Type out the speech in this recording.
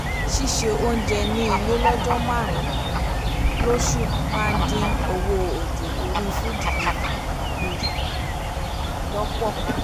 ṣíṣe oúnjẹ ní ilé lọ́ọ̀jọ́ marun un lósù máa dín owó òjò orí food delivery kù lọ́pọ̀